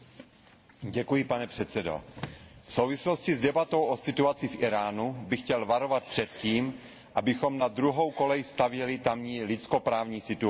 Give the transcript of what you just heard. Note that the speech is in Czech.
Vážený pane předsedající, v souvislosti s debatou o situaci v Íránu bych chtěl varovat před tím, abychom na druhou kolej stavěli tamní lidskoprávní situaci.